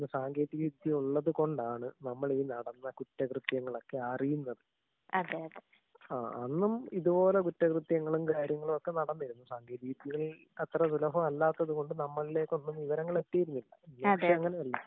ഇന്ന് സാങ്കേതിക വിദ്യ ഉള്ളത് കൊണ്ടാണ് നമ്മള് ഈ നടന്ന കുറ്റ കൃത്യങ്ങളൊക്കെ അറിയുന്നത്. ആഹ് അന്നും ഇതെ പോലെ കുറ്റ കൃത്യങ്ങളും കാര്യങ്ങളൊക്കെ നടന്നിരുന്നു. വീട്ടില് അത്ര അല്ലാത്തത് കൊണ്ട് നമ്മളിലേക്കൊന്നും വിവരങ്ങള് എത്തിയിരുന്നില്ല. പക്ഷെ ഇപ്പൊ അങ്ങനെയല്ല.